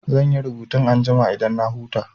Zan yi rubutun anjima idan na huta.